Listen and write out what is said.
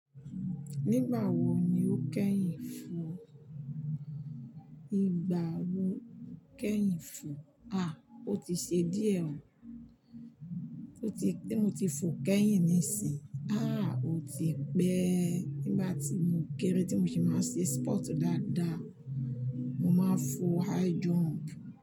Nígbà wo ni o kẹ́yìn fò? Nígbà wo kẹ́yìn fò? À, ó ti ṣe díẹ̀ ó. Ó ti, tí mo ti fò kẹ́yìn nísìí. Àhh! Ó ti pẹ́. Nígbà tí mo kéré tí mo sì máa ń ṣe spọtú dáadáa, mo máa ń fò high jump.